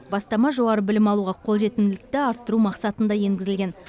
бастама жоғары білім алуға қолжетімділікті арттыру мақсатында енгізілген